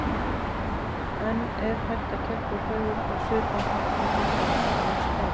En er hægt að keppa í fegurð á svipaðan hátt og í handbolta eða skák?